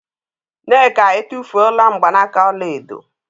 Nneka e tufula n gbanaka ọla edo